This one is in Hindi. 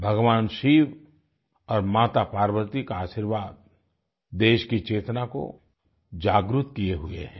भगवान शिव और माता पार्वती का आशीर्वाद देश की चेतना को जागृत किये हुए हैं